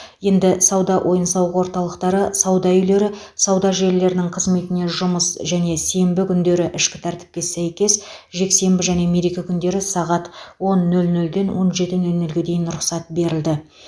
енді сауда ойын сауық орталықтары сауда үйлері сауда желілерінің қызметіне жұмыс және сенбі күндері ішкі тәртіпке сәйкес жексенбі және мереке күндері сағат он нөл нөлден он жеті нөл нөлге дейін рұқсат берілді